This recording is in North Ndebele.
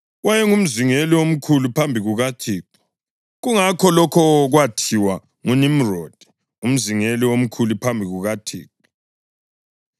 Wayengumzingeli omkhulu phambi kukaThixo; kungakho lokho kwathiwa, “NjengoNimrodi, umzingeli omkhulu phambi kukaThixo.”